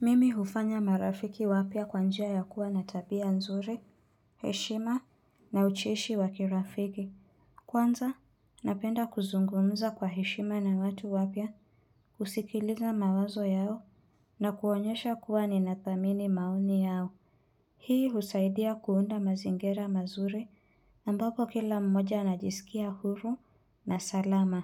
Mimi hufanya marafiki wapya kwa njia ya kuwa na tabia nzuri, heshima na ucheshi wa kirafiki. Kwanza, napenda kuzungumza kwa heshima na watu wapya kusikiliza mawazo yao na kuonyesha kuwa ninathamini maoni yao. Hii husaidia kuunda mazingira mazuri ambapo kila mmoja anajisikia huru na salama.